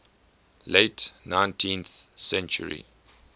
late nineteenth century